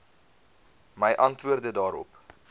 my antwoorde daarop